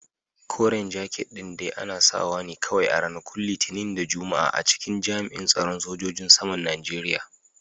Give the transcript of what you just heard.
Koren jaket din dai ana sawa ne kawai a ranakun Litinin da Juma'a a cikin jami'in tsaron sojojin saman Najeriya.